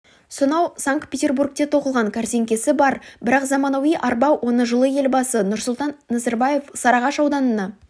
сонау санкт-петербургте тоқылған кәрзеңкесі бар бірақ заманауи арба оны жылы елбасы нұрсұлтан назарбаев сарыағаш ауданына